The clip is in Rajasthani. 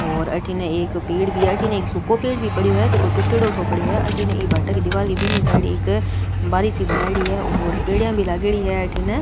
और अठीने एक पेड़ भी है अठीने एक सुखो पेड़ भी पड़यो है जको टूटयोडो सो पड़ियो है अठीने ई भाटा की दिवार के बिन्नी साइड एक बारी सी बनायेड़ी है और पेड़िया भी लागेड़ी है अठीने।